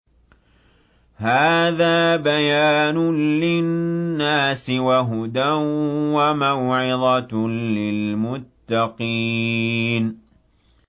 هَٰذَا بَيَانٌ لِّلنَّاسِ وَهُدًى وَمَوْعِظَةٌ لِّلْمُتَّقِينَ